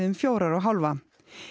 um fjórar og hálfa